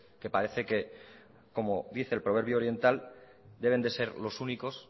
que parece que como dice el proverbio oriental deben de ser los únicos